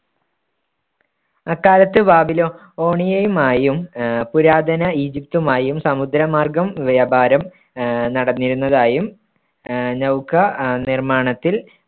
അക്കാലത്ത് ബാബിലോ~ ഓണിയമായും ആഹ് പുരാതന ഈജിപ്തുമായും സമുദ്രമാർഗം വ്യാപാരം ആഹ് നടന്നിരുന്നതായും ആഹ് നൗക ആഹ് നിർമ്മാണത്തിൽ